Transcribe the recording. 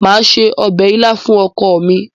màá se ọbẹ̀ ilá fún ọkọ mi.